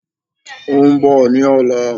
Óún bọ̀ ní ọ̀la